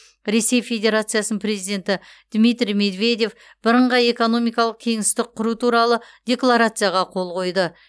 ресей федерациясының президенті дмитрий медведев бірыңғай экономикалық кеңістік құру туралы декларацияға қол қойды